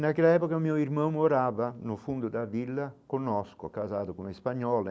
Naquela época, meu irmão morava no fundo da vila, conosco, casado com a Espanhola.